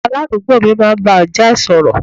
Aládùúgbò mi máa ń bá ajá ẹ̀ sọ̀rọ̀